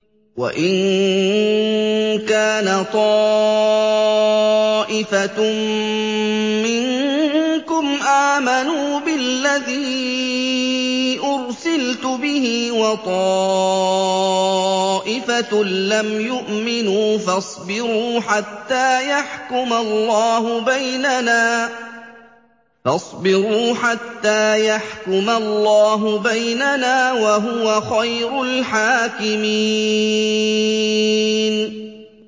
وَإِن كَانَ طَائِفَةٌ مِّنكُمْ آمَنُوا بِالَّذِي أُرْسِلْتُ بِهِ وَطَائِفَةٌ لَّمْ يُؤْمِنُوا فَاصْبِرُوا حَتَّىٰ يَحْكُمَ اللَّهُ بَيْنَنَا ۚ وَهُوَ خَيْرُ الْحَاكِمِينَ